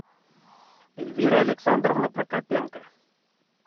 эльвира александровна прокопенко